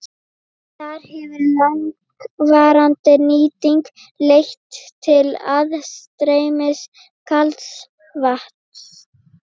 Þar hefur langvarandi nýting leitt til aðstreymis kalds vatns.